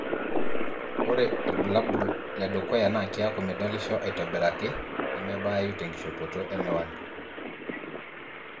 ore ilbulabul ledukuya na kiaku midolisho aitobiraki nemebayu tenkishopoto emiwani.